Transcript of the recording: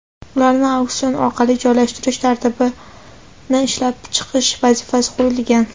ularni auksion orqali joylashtirish tartibini ishlab chiqish vazifasi qo‘yilgan.